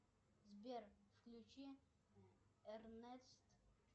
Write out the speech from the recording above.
сбер включи эрнест